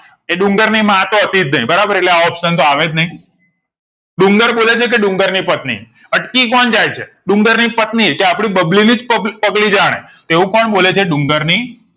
એ ડુંગર ની માં તો હતી જ નય બરાબર એટલે આ option તો અવેજ નય ડુંગરબોલે છે કે ડુંગર ની પત્ની અટકી કોણ જાય છે ડુંગર ની પત્ની કે આપડી બબલી નીજ જાણે પબ પગલી જાણે તેવું કોણ બોલે છે ડુંગર ની